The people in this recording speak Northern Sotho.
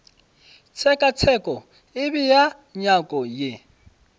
tshekatsheko e bea nyako ye